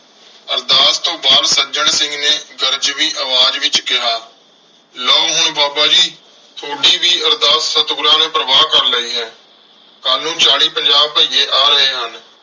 ਸੱਜਣ ਸਿੰਘ ਨੇ ਗਰਜਵੀਂ ਆਵਾਜ਼ ਵਿਚ ਕਿਹਾ। ਲਓ। ਹੁਣ ਬਾਬਾ ਜੀ ਥੋਡੀ ਵੀ ਅਰਦਾਸ ਸਤਿਗੁਰਾਂ ਨੇ ਪ੍ਰਵਾਨ ਕਰ ਲਈ ਹੈ ਕੱਲ ਨੂੰ ਚਾਲੀ ਪੰਜਾਹ ਭਈਏ ਆ ਰਹੇ ਹਨ।